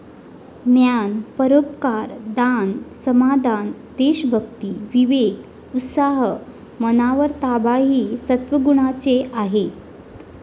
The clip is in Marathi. ज्ञान, परोपकार, दान, समाधान, देवभक्ती, विवेक, उत्साह, मनावर ताबा हि सत्त्वगुणांचे आहेत ।